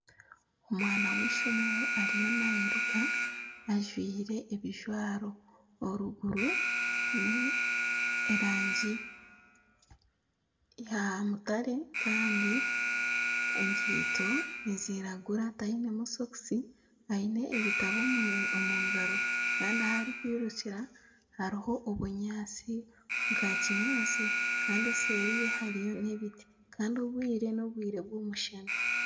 Omwana ow'eishomero ariyo nayiruka ajwaire ebijwaro oruguru n'erangi ya mutare Kandi enkaito niziragura tainemu sokusi aine ebitabo omu ngaro Kandi ahu arikwirukira hariho obunyaatsi obwa kinyaatsi kandi nseeri ye hariyo n'ebiti kandi obwire n'obwire bw'omushana